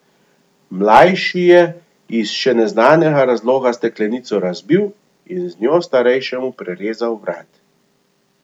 Mlajši je iz še neznanega razloga steklenico razbil in z njo starejšemu prerezal vrat.